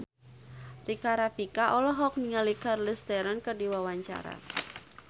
Rika Rafika olohok ningali Charlize Theron keur diwawancara